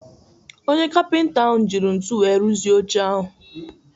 Onye kapịnta ahụ jiri ntu wee rụzi oche ahụ.